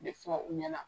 De fɔ u ɲɛna